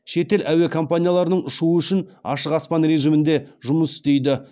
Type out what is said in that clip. шетел әуе компанияларының ұшуы үшін ашық аспан режимінде жұмыс істейді